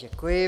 Děkuji.